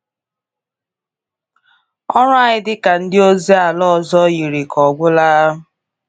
Ọrụ anyị dị ka ndị ozi ala ọzọ yiri ka ọ gwụla.